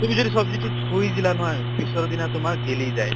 তুমি যদি চব্জিটো থৈ দিলা নহয়, পিছত দিনা তোমাৰ গেলি যায়।